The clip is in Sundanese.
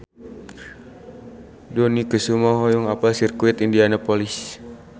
Dony Kesuma hoyong apal Sirkuit Indianapolis